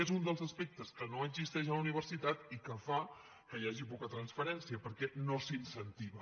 és un dels aspectes que no existeix a la universitat i que fa que hi hagi poca transferència perquè no s’incentiva